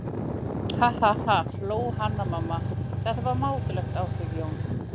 Ha ha ha, hló Hanna-Mamma, þetta var mátulegt á þig Jón.